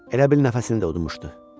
Elə bil nəfəsini də udmuşdu.